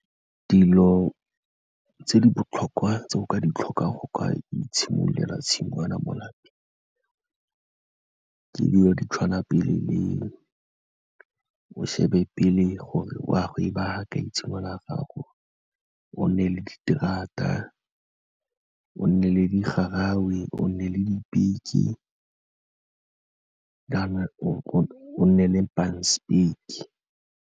Dilo tse di botlhokwa tse o ka di tlhokang go ka itshimololela tshingwana mo lapeng, ke dilo di tshwana pele le, o shebe pele gore wa go ba fa kae tshingwana ya gago, o nne le diterata o nne le digarawe, o nne le dipeke, o nne le panspeke.